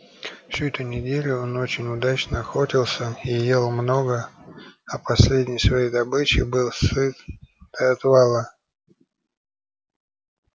всю эту неделю он очень удачно охотился и ел много а последней своей добычей был сыт до отвала